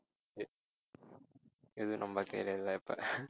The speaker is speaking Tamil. சரி எதுவும் நம்ம கையில இல்லை இப்ப